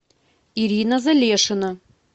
ирина залешина